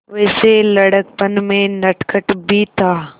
वैसे लड़कपन में नटखट भी था